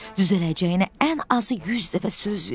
Düzələcəyinə ən azı 100 dəfə söz verdi.